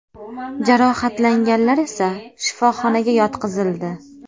Jarohatlanganlar esa shifoxonaga yotqizildi.